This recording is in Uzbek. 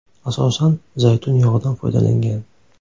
Asosan zaytun yog‘idan foydalangan.